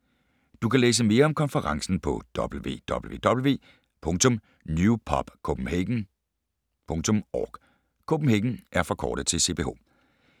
Du kan læse mere om konferencen på www.newpubcph.org